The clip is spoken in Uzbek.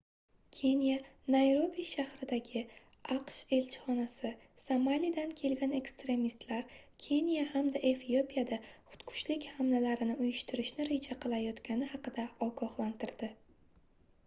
keniya nayrobi shahridagi aqsh elchixonasi somalidan kelgan ekstremistlar keniya hamda efiopiyada xudkushlik hamlalarini uyushtirishni reja qilayotgani haqida ogohlantirdi